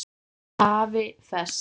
AFI Fest